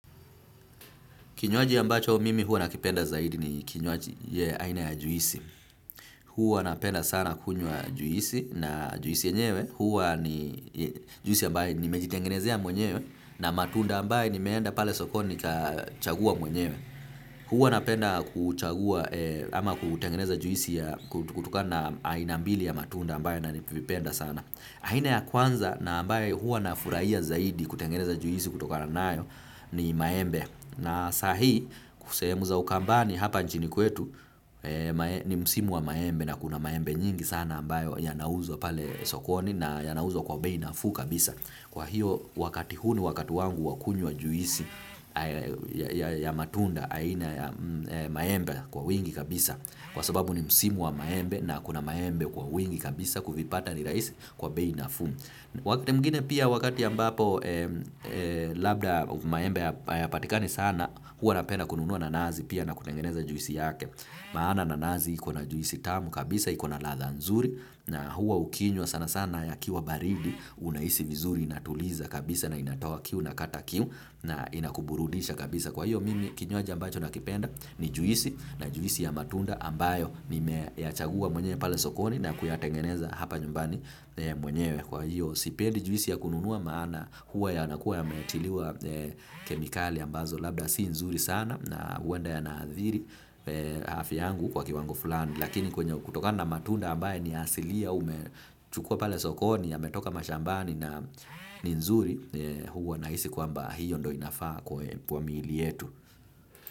Kinywaji ambacho mimi huwa nakipenda zaidi ni kinywaji ya aina ya juisi. Huwa napenda sana kunywa juisi na juisi yenyewe. Huwa ni juisi ambayo nimejitengenezea mwenyewe na matunda ambayo nimeenda pale sokoni nikachagua mwenyewe. Huwa napenda kuchagua ama kutengeneza juisi kutokana na aina mbili ya matunda ambayo navipenda sana. Aina ya kwanza na ambayo huwa nafurahia zaidi kutengeneza juisi kutokana nayo ni maembe. Na saa hii sehemu za ukambani hapa nchini kwetu ni msimu wa maembe na kuna maembe nyingi sana ambayo yanauzwa pale sokoni na yanauzwa kwa bei nafuu kabisa. Kwa hiyo wakati huu ni wakati wangu wa kunywa juisi ya matunda aina ya maembe kwa wingi kabisa. Kwa sababu ni msimu wa maembe na kuna maembe kwa wingi kabisa kuvipata ni rahisi kwa bei nafuu. Wakati mwingine pia wakati ambapo labda maembe hayapatikani sana huwa napenda kununua nanasi pia na kutengeneza juisi yake. Maana nanasi iko na juisi tamu kabisa, iko na ladha nzuri na huwa ukinywa sana sana yakiwa baridi unahisi vizuri inatuliza kabisa na inatoa kiu unakata kiu na inakuburudisha kabisa. Kwa hiyo mimi kinywaji ambacho nakipenda ni juisi na juisi ya matunda ambayo nimeyachagua mwenyewe pale sokoni na kuyatengeneza hapa nyumbani mwenyewe. Kwa hiyo, sipendi juisi ya kununua maana huwa yanakuwa yametiliwa kemikali ambazo labda si nzuri sana na huenda yanaathiri afya yangu kwa kiwango fulani. Lakini kutokana na matunda ambayo ni ya asilia umechukua pale sokoni yametoka mashambani na ni nzuri huwa nahisi kwamba hiyo ndo inafaa kwa miili yetu.